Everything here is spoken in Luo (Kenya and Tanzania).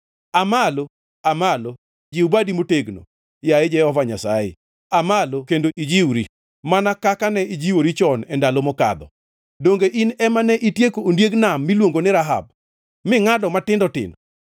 Aa malo, Aa malo! Jiw badi motegno, yaye Jehova Nyasaye; aa malo kendo ijiwri, mana kaka ne ijiwori chon e ndalo mokadho. Donge in ema nitieko ondiek nam miluongo ni Rahab, mingʼado matindo tindo?